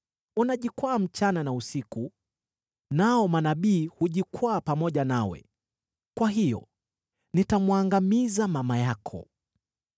Unajikwaa usiku na mchana, nao manabii hujikwaa pamoja nawe. Kwa hiyo nitamwangamiza mama yako: